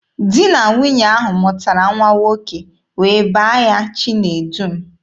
Di na nwunye ahụ mụtara nwa nwoke wee baa ya Chinedum.